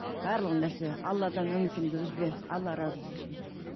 барлығы нәрсе алладан үмітіңді үзбе алла разы болсын